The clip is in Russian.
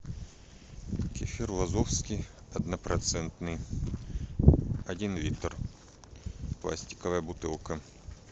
кефир вазовский однопроцентный один литр пластиковая бутылка